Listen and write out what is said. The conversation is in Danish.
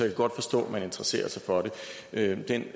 kan godt forstå at man interesserer sig for det den